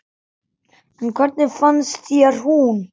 En hvernig fannst þér hún?